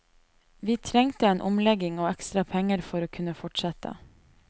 Vi trengte en omlegging og ekstra penger for å kunne fortsette.